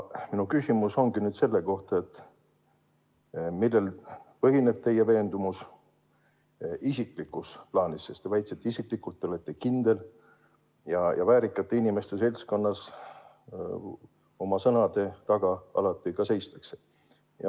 Minu küsimus ongi selle kohta, et millel põhineb teie veendumus isiklikus plaanis, sest te väitsite, et te isiklikult olete kindel, ja väärikate inimeste seltskonnas oma sõnade taga alati ka seistakse.